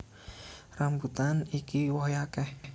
Rambutan iki wohé akéh